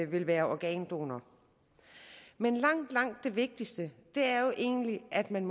vil være organdonor men langt langt det vigtigste er jo egentlig at man